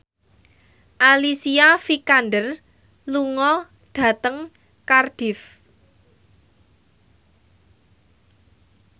Alicia Vikander lunga dhateng Cardiff